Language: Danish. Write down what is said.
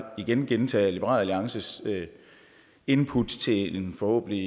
igen gentage at liberal alliances input til en forhåbentlig